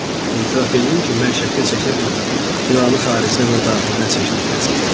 Etiraf eləyim ki, mən şəkil çəkə bilmirəm, ilanı xaricdən və daxildən çəkməkdən savayı."